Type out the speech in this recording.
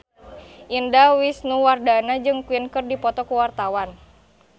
Indah Wisnuwardana jeung Queen keur dipoto ku wartawan